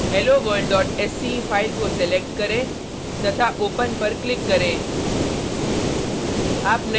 helloworldsce file को select करें तथा ओपन पर क्लिक करें